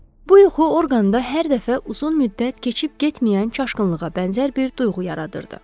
Bu yuxu orqanda hər dəfə uzun müddət keçib getməyən çaşqınlığa bənzər bir duyğu yaradırdı.